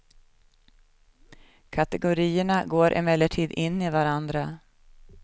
Kategorierna går emellertid in i varandra.